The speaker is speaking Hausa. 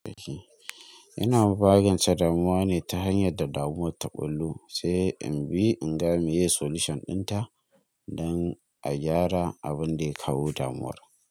Ina magancen damuwa ne ta hanyar da damuwar ta ɓulo, sai in bi in ga me ye solution ɗinta don a gyara abun da ya kawo damuwar.